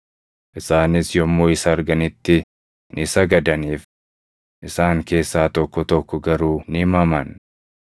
Isaanis yommuu isa arganitti ni sagadaniif; isaan keessaa tokko tokko garuu ni maman.